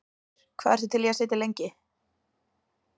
Heimir: Hvað ertu til í að sitja lengi?